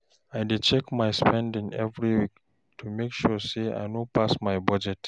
I dey check my spending every week to make sure I no pass my budget.